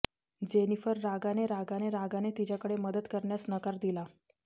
Jennifer रागाने रागाने रागाने तिच्याकडे मदत करण्यास नकार दिला